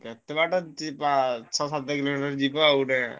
କେତେବାଟ ଯିବା ଛଅ ସାତ କିଲୋମିଟର ଖଣ୍ଡେ ଯିବ ଗୋଟେ।